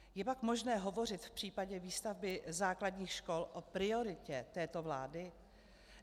Je pak možné hovořit v případě výstavby základních škol o prioritě této vlády?